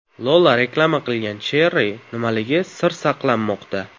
Lola reklama qilgan Cherry nimaligi sir saqlanmoqda .